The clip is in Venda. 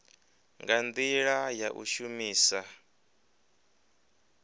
nga ndila ya u shumisa